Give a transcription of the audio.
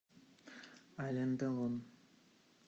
ален делон